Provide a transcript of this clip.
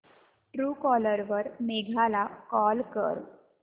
Truecaller वर मेघा ला call कर